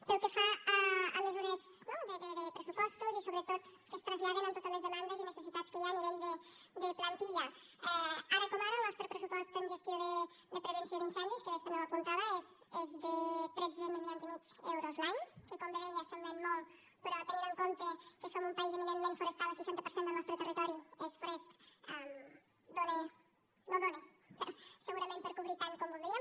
pel que fa a mesures no de pressupostos i sobretot que es traslladen en totes les demandes i necessitats que hi ha a nivell de plantilla ara com ara el nostre pressupost en gestió de prevenció d’incendis que adés també ho apuntava és de tretze milions i mig d’euros l’any que com bé deia semblen molt però tenint en compte que som un país eminentment forestal el seixanta per cent del nostre territori és forest no dóna segurament per a cobrir tant com voldríem